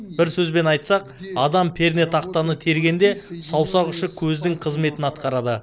бір сөзбен айтсақ адам пернетақтаны тергенде саусақ ұшы көздің қызметін атқарады